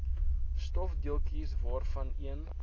stofdeeltjies waarvan een